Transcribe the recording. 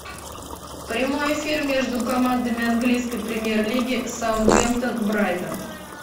прямой эфир между командами английской премьер лиги саутгемптон брайтон